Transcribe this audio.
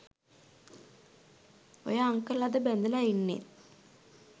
ඔය අන්කල් අද බැඳලා ඉන්නෙත්